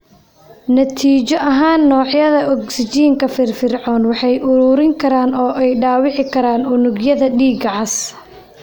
Natiijo ahaan, noocyada ogsijiinta firfircooni waxay ururin karaan oo ay dhaawaci karaan unugyada dhiigga cas.